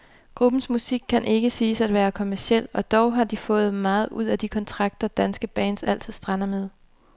Gruppens musik kan ikke siges at være kommerciel, og dog har de fået meget ud af de kontrakter, danske bands altid strander med.